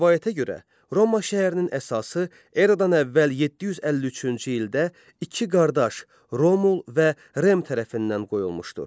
Rəvayətə görə, Roma şəhərinin əsası eradan əvvəl 753-cü ildə iki qardaş, Romul və Rem tərəfindən qoyulmuşdur.